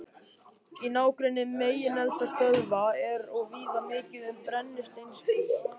Í nágrenni megineldstöðva er og víða mikið um brennisteinskís.